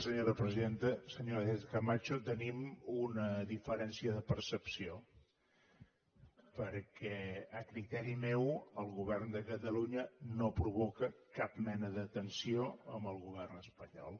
senyora sánchez camacho tenim una diferència de percepció perquè a criteri meu el govern de catalunya no provoca cap mena de tensió amb el govern espanyol